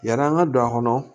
Yani an ka don a kɔnɔ